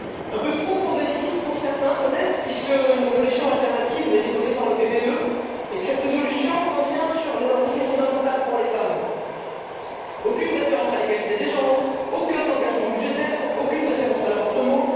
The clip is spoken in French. Un peu trop progressiste pour certains, peut être, puisque une résolution alternative est déposée par le groupe PPE et que cette résolution revient sur des avancées fondamentales pour les femmes aucune référence à l'égalité des genres, aucun engagement budgétaire, aucune référence à l'avortement.